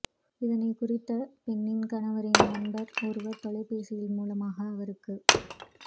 இதனை குறித்த பெண்ணின் கணவனின் நண்பர் ஒருவர் தொலைபேசி மூலமாக அவருக்கு